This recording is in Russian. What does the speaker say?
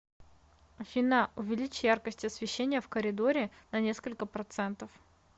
афина увеличь яркость освещения в коридоре на несколько процентов